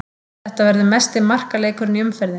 Þetta verður mesti markaleikurinn í umferðinni.